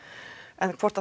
en hvort